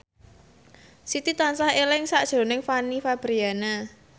Siti tansah eling sakjroning Fanny Fabriana